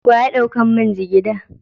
Wa ya dauka min jigiɗa?